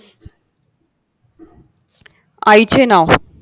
आईचे नाव